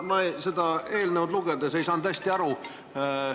Ma seda eelnõu lugedes ei saanud hästi aru.